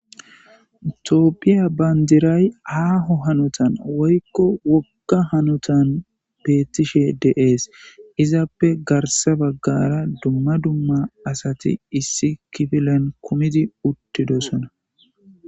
Toopphiya bandiray haaho hanotan woykko wokka hanotan beettishe deees izappe garsa baggara dumma dumma asati issi kifilen kumidi uttidosona.